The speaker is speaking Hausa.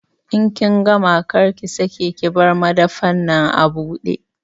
In kin gama, kar ki sake ki bar madafan nan abude!